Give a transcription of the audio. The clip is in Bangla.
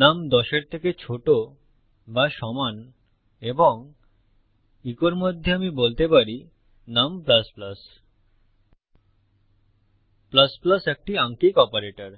নুম 10 এর থেকে ছোট বা সমান এবং ইকোর মধ্যে আমি বলতে পারি নুম একটি আঙ্কিক অপারেটর